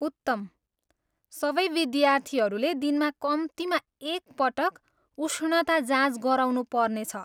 उत्तम! सबै विद्यार्थीहरूले दिनमा कम्तीमा एक पटक उष्णता जाँच गराउनु पर्नेछ।